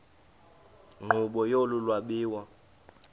nkqubo yolu lwabiwo